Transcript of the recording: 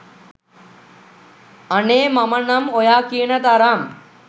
අනේ මම නම් ඔයා කියන තරම්